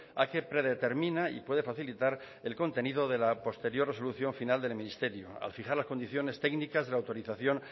a que predetermina y puede facilitar el contenido de la posterior resolución final del ministerio al fijar las condiciones técnicas de la autorización